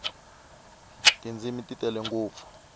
tindzimi ti tele ngopfu